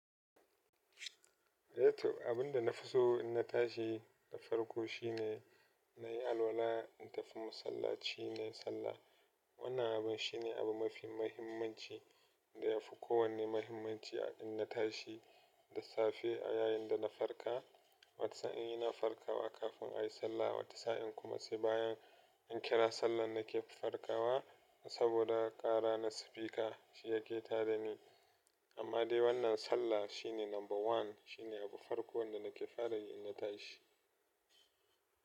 Eh to abin da na fi so in na tashi na farko shine na yi alwala in tafi masallaci na yi sallah. Wannan abun shi ne abun mafi mahimmanci da ya fi kowane mahimmanci a in na tashi da safe yayin da na farka. Wata sa'in ina farkawa kafin a yi sallah, wata sa'in kuma sai bayan in kira sallar na ke farkawa saboda ƙara na sifika shi yake tada ni. Amma dai wannan sallah shi ne number one, shi ne abu farko wanda na ke fara yi in na tashi.